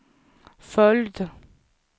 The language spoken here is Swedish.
följd